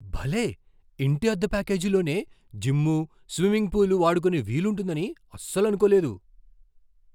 భలే! ఇంటి అద్దె ప్యాకేజీలోనే జిమ్ము, స్విమ్మింగ్ పూలు వాడుకునే వీలు ఉంటుందని అస్సలనుకోలేదు.